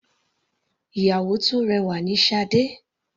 Ìyàwó tó rẹwà ni Sade.